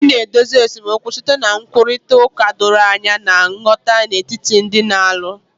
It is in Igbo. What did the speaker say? Ị na-edozi esemokwu site na nkwurịta okwu doro anya na nghọta n'etiti ndị na-alụ